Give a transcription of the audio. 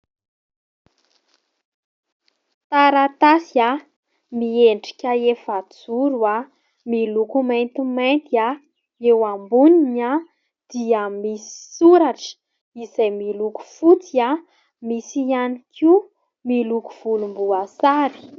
Taratasy miendrika efajoro, miloko maintimainty. Eo amboniny dia misy soratra izay miloko fotsy, misy ihany koa miloko volomboasary.